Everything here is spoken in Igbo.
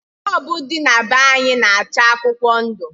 Bọlbụ dị na be anyị na-acha akwụkwọ ndụ